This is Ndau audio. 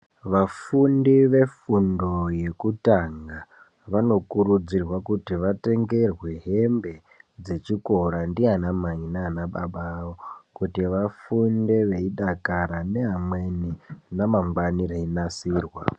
Vafundi vefundo yekutanga vanokurudzirwa kuti vatengerwe hembe dzechikora ndiana mai nana baba vavo kuti vafunde veidakara nevamweni ramangwani reinasirwa.